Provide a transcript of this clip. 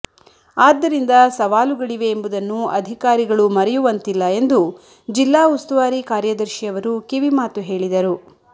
ಆದ್ದರಿಂದ ಸವಾಲುಗಳಿವೆ ಎಂಬುದನ್ನು ಅಧಿಕಾರಿಗಳು ಮರೆಯುವಂತಿಲ್ಲ ಎಂದು ಜಿಲ್ಲಾ ಉಸ್ತುವಾರಿ ಕಾರ್ಯದರ್ಶಿ ಅವರು ಕಿವಿಮಾತು ಹೇಳಿದರು